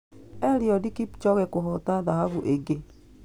Eliud Kipchoge kũhoota thahabu ĩngĩ